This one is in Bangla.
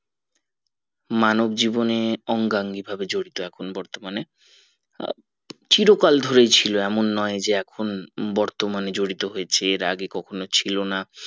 মানব জীবনে অঙ্গা অঙ্গি ভাবে জড়িত এখন বর্তমানে আহ চিরকাল ধরেই ছিল এমন নোই যে এখন বর্তমানে জড়িত হয়েছে এর আগে কখনো ছিল না